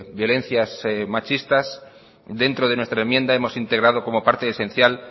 violencias machistas dentro de nuestra enmienda hemos integrado como parte esencial